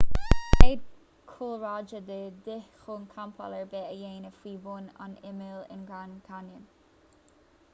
tá cead cúlráide de dhíth chun campáil ar bith a dhéanamh faoi bhun an imill in grand canyon